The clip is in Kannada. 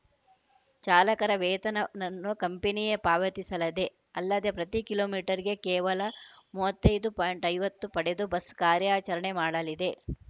ಚಾಲಕರ ವೇತನನ್ನು ಕಂಪನಿಯೇ ಪಾವತಿಸಲಿದೆ ಅಲ್ಲದೆ ಪ್ರತಿ ಕಿಲೋಮೀಟರ್‌ಗೆ ಕೇವಲ ಮೂವತ್ತ್ ಐದು ಪಾಯಿಂಟ್ ಐವತ್ತು ಪಡೆದು ಬಸ್‌ ಕಾರ್ಯಾಚರಣೆ ಮಾಡಲಿದೆ